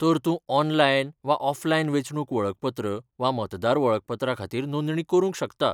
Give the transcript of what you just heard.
तर तूं ऑनलायन वा ऑफलायन वेंचणूक वळखपत्र वा मतदार वळखपत्रा खातीर नोंदणी करूंक शकता.